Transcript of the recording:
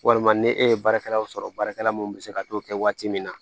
Walima ni e ye baarakɛlaw sɔrɔ baarakɛla mun be se ka t'o kɛ waati min na